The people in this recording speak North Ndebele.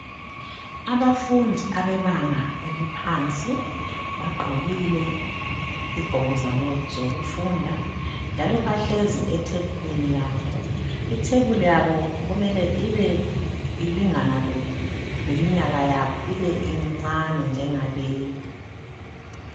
Abafundi abebanga eliphansi bagqokile izigqoko zabo zokufunda njalo bahlezi ethebulini yabo ithebubuli yabo kumele ibe ilingana leminyaka yabo ibencane njengaleyi.